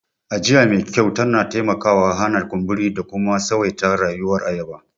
Ajiya me kyau tana taimakawa hana kumburi da kuma tsawaita rayuwar ayaba.